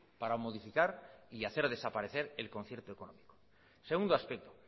para modificar y hacer desaparecer el concierto económico segundo aspecto